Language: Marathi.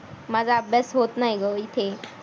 माझा अभ्यास होत नाही ग इथे.